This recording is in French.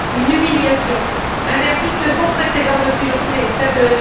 Une humiliation, un verdict sans précédent depuis le coup d'État de